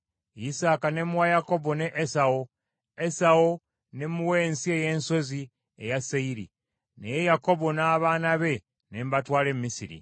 Isaaka ne mmuwa Yakobo ne Esawu. Esawu ne mmuwa ensi ey’ensozi eya Seyiri. Naye Yakobo n’abaana be ne mbatwala e Misiri.